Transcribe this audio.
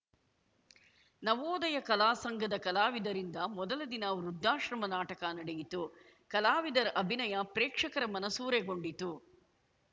ನವೋದಯ ಕಲಾ ಸಂಘದ ಕಲಾವಿದರಿಂದ ಮೊದಲ ದಿನ ವೃದ್ದಾಶ್ರಮ ನಾಟಕ ನಡೆಯಿತು ಕಲಾವಿದರ ಅಭಿನಯ ಪ್ರೇಕ್ಷಕರ ಮನಸೂರೆಗೊಂಡಿತು